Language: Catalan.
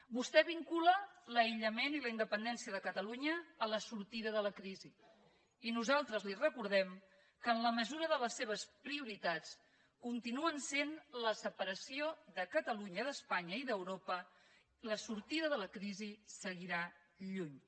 vostè vincula l’aïllament i la independència de catalunya a la sortida de la crisi i nosaltres li recordem que si en la mesura de les seves prioritats continuen sent hi la separació de catalunya d’espanya i d’europa la sortida de la crisi seguirà lluny